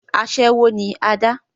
asẹ́wó ni adá